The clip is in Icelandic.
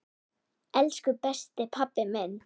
Elsku besti pabbi minn.